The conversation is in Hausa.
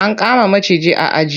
An kama maciji a aji.